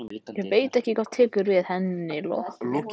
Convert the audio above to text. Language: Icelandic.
Ég veit ekki hvað tekur við að henni lokinni.